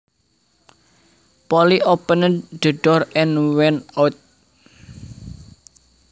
Polly opened the door and went out